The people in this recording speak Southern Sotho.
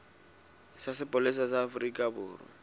sa sepolesa sa afrika borwa